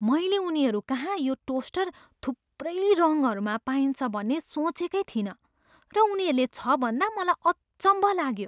मैले उनीहरूकहाँ यो टोस्टर थुप्रै रङहरूमा पाइन्छ भन्ने सोचेकै थिइन र उनीहरूले छ भन्दा मलाई अचम्भ लाग्यो।